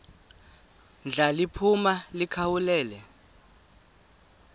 ndla liphuma likhawulele